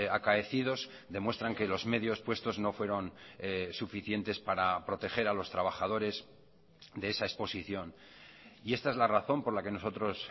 acaecidos demuestran que los medios puestos no fueron suficientes para proteger a los trabajadores de esa exposición y esta es la razón por la que nosotros